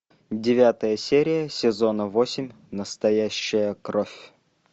девятая серия сезона восемь настоящая кровь